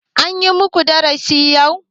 An yi muku darashi yau?